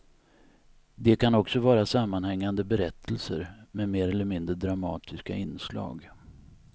De kan också vara sammanhängande berättelser med mer eller mindre dramatiska inslag.